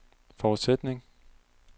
forudsætning